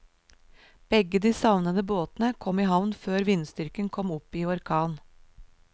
Begge de savnede båtene kom i havn før vindstyrken kom opp i orkan.